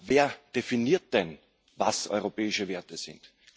Wer definiert denn, was europäische Werte sind?